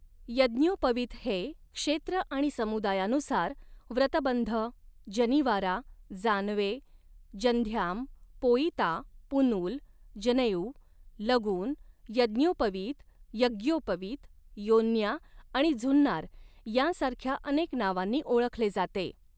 यज्ञोपवीत हे क्षेत्र आणि समुदायानुसार व्रतबंध, जनीवारा, जानवे, जंध्याम, पोइता, पुनूल, जनेऊ, लगुन, यज्ञोपवीत, यग्योपवित, योन्या आणि झुन्नार यांसारख्या अनेक नावांनी ओळखले जाते.